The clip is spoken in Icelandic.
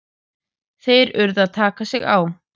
Þeir urðu að taka sig á!